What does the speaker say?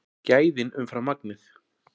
Gæðin umfram magnið